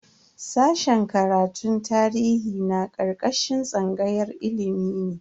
Sashen karatun tarihi na karkashin tsangayar ilimi ne.